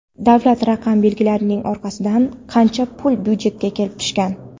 Davlat raqam belgilarining orqasidan qancha pul byudjetga kelib tushgan?.